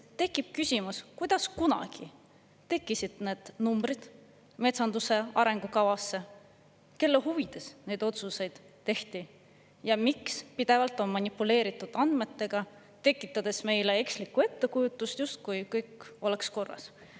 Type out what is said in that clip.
Tekib küsimus, kuidas kunagi tekkisid need numbrid metsanduse arengukavasse, kelle huvides neid otsuseid tehti ja miks on pidevalt manipuleeritud andmetega, tekitades meile eksliku ettekujutuse, justkui kõik oleks korras.